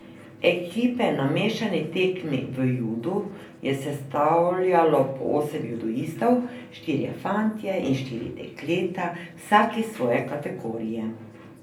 Ekipe na mešani tekmi v judu je sestavljalo po osem judoistov, štirje fantje in štiri dekleta, vsak iz svoje kategorije.